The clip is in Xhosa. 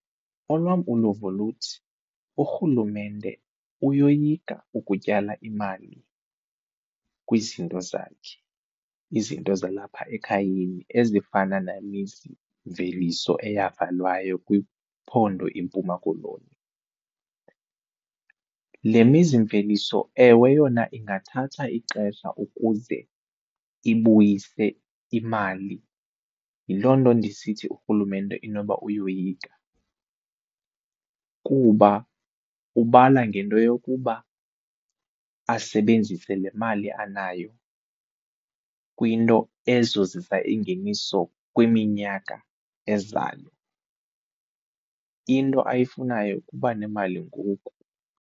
Olwam uluvo luthi urhulumente uyoyika ukutyala imali kwizinto zakhe, izinto zalapha ekhayeni ezifana namizimveliso eyavalwayo kwiphondo iMpuma Koloni. Le mizimveliso ewe yona ingathatha ixesha ukuze ibuyise imali, yiloo nto ndisithi urhulumente inoba uyoyika kuba ubala ngento yokuba asebenzise le mali anayo kwinto ezozisa ingeniso kwiminyaka ezayo. Into ayifunayo kuba nemali ngoku.